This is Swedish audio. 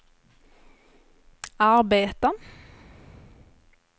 arbeta